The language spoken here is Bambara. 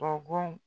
Bɔgɔ